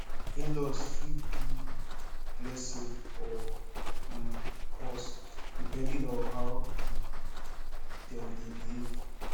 inlaws fit be blessing or um curse depending on how um dem dey behave